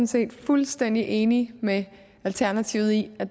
set fuldstændig enige med alternativet i at